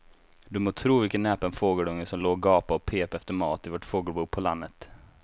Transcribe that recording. Du må tro vilken näpen fågelunge som låg och gapade och pep efter mat i vårt fågelbo på landet.